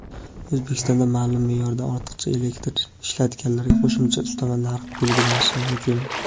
O‘zbekistonda ma’lum me’yordan ortiqcha elektr ishlatganlarga qo‘shimcha ustama narx belgilanishi mumkin.